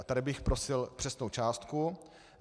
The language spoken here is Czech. A tady bych prosil přesnou částku.